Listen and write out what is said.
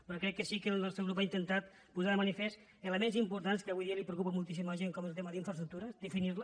però crec que sí que el nostre grup ha intentat posar de manifest elements importants que avui dia preocupen moltíssim la gent com és el tema d’infraestructures definir les